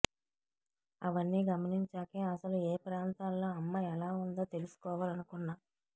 అవన్నీ గమనించాకే అసలు ఏ ప్రాంతాల్లో అమ్మ ఎలా ఉందో తెలుసుకోవాలనుకున్నా